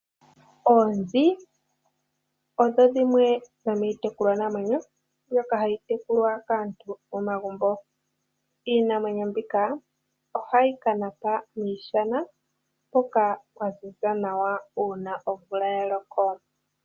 Oonzi odho dhimwe dhomiitekulwanamwenyo mbyoka hayi tekulwa kaantu momagumbo . Iinamwenyo mbika ohayi kanapa miishana mpoka pwaziza nawa, uuna omvula yaloko.